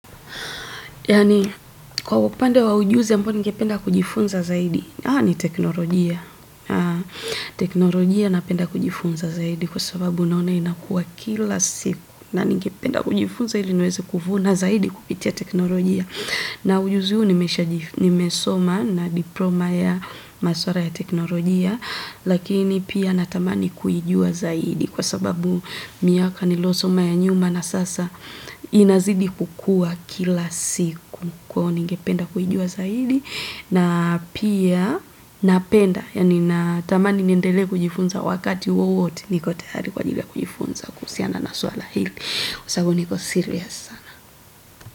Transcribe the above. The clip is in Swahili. Kwa upande wa ujuzi ambao ningependa kujifunza zaidi? Ah, ni teknologia. Teknologia na penda kujifunza zaidi kwa sababu naona ina kuwa kila siku. Na ningependa kujifunza zaidi, niweze kuvuna zaidi kupitia teknologia. Na ujuzi huu nimesoma na diploma ya maswala ya teknologia, lakini pia natamani kuijua zaidi kwa sababu miaka niliyosoma ya nyuma na sasa ina zidi kukua kila siku. Ningependa kuijua zaidi, na pia natamani niendele kujifunza wakati wowote niko tayari kujifunza kuhusiana na suala ili. Kwa sababu niko serious sana.